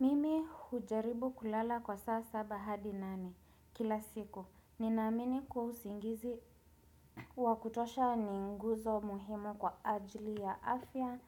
Mimi hujaribu kulala kwa saa saba hadi nane kila siku. Ninamini kuwa usingizi wakutosha ninguzo muhimu kwa ajili ya afya